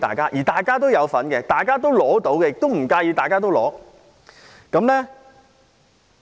這是大家都有份，大家都應該得到，也不介意大家都得到的。